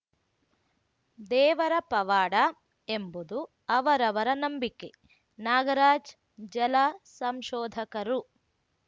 ದೇವರ ಪವಾಡ ಎಂಬುದು ಅವರವರ ನಂಬಿಕೆ ನಾಗರಾಜ್‌ ಜಲ ಸಂಶೋಧಕರು